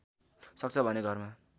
सक्छ भने घरमा